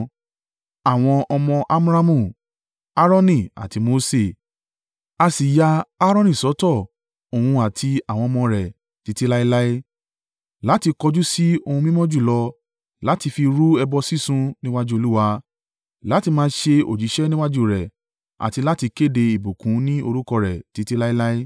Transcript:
Àwọn ọmọ Amramu. Aaroni àti Mose. A sì ya Aaroni sọ́tọ̀ òun àti àwọn ọmọ rẹ̀ títí láéláé, láti kọjú sí ohun mímọ́ jùlọ, láti fi rú ẹbọ sísun níwájú Olúwa, láti máa ṣe òjíṣẹ́ níwájú rẹ̀ àti láti kéde ìbùkún ní orúkọ rẹ̀ títí láéláé.